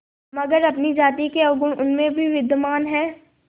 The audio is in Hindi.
मगर अपनी जाति के अवगुण उनमें भी विद्यमान हैं